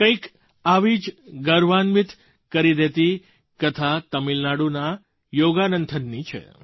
કંઈક આવી જ ગર્વાન્વિત કરી દેતી કથા તમિલનાડુના યોગાનંથનની છે